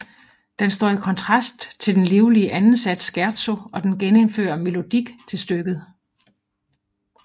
Den står i kontrast til den livlige anden sats Scherzo og den genindfører melodik til stykket